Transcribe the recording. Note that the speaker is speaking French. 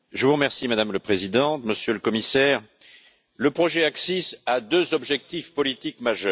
Madame la Présidente, Monsieur le Commissaire, le projet ACCIS a deux objectifs politiques majeurs.